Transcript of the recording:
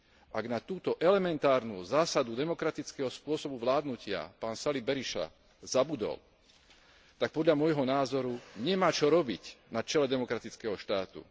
Ak na túto elementárnu zásadu demokratického spôsobu vládnutia pán Sali Berisha zabudol, tak podľa môjho názoru nemá čo robiť na čele demokratického štátu.